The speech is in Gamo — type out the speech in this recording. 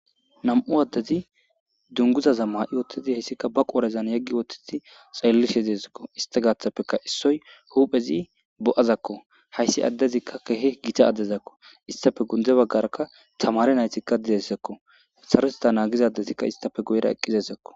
Nam'u addezi dunguza zamma i wottizi hayssikka ba qoorezan yeggi wottiti xalllishe zeezakko ista gaathapfeka issoy huphezi hayssi addezikka kehe gita addezakko istafe gunde baggaraka tamare naytikka didezakko saroteta naagizadetikka istafe guyira eqqizezakko.